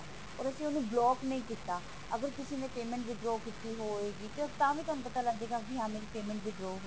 ਪਰ ਉਸਨੂੰ ਅਸੀਂ block ਨਹੀਂ ਕੀਤਾ ਅਗਰ ਕਿਸੀ ਨੇ payment withdraw ਕੀਤੀ ਹੋਵੇਗੀ ਤਾਂ ਕਿਉਂਕਿ ਤੁਹਾਨੂੰ ਤਾਵੀਂ ਪਤਾ ਲੱਗ ਜਾਏਗਾ ਕਿ ਹਾਂ ਮੇਰੀ payment withdraw ਹੋਈ ਹੈ